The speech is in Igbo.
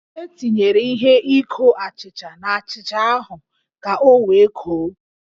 E tinyere ihe ikó achịcha n'achịcha ahụ ka o wee koó